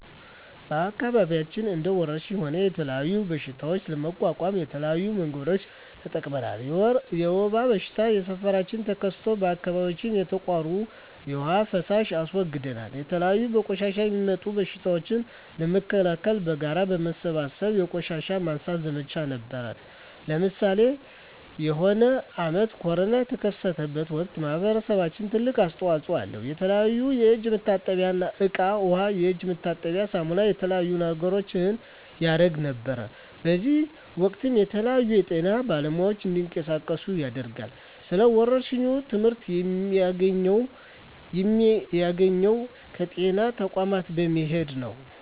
በአከባቢያችን እንደ ወረርሽኝ ሆነ የተለያዩ በሽታዎች ለመቋቋም የተለያዩ መንገዶችን ተጠቅመናል የወባ በሽታ በሠፈራችን ተከስቶ በአካባቢያችን የተቃሩ የዉሃ ፋሳሽ አስወግደናል የተለያዩ በቆሻሻ የሚጡም በሽቶችን ለመከላከል በጋራ በመሠብሰብ የቆሻሻ ማንሳት ዘመቻ ነበረነ ለምሳሌ የሆነ አመት ኮርና የተከሰተ ወቅት ማህበረሰባችን ትልቅ አስተዋጽኦ አለው የተለያዩ የእጅ መታጠብያ እቃ ዉሃ የእጅ መታጠቢያ ሳሙና የተለያዩ ነገሮችን ያረግ ነበር በእዚህም ወቅትም የተለያዩ የጤና ባለሙያዎች እንዲቀሳቀሱ ያደርጋል ስለ ወረርሽኝ ትመህርት የሚያገኘው ከጤና ተቋሞች በመሄድ ነው